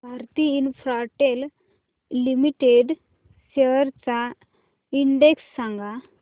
Bharti Infratel limited shares चा index सांगा